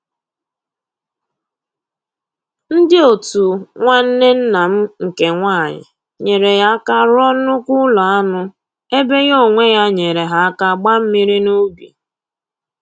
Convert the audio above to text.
Ndị otu nwanne nna m nke nwanyị nyeere ya aka rụọ nnukwu ụlọ anụ ebe ya onwe ya nyeere ha aka gbaa mmiri n'ubi